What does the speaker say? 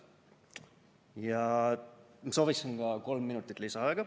Ja sooviksin ka kolm minutit lisaaega.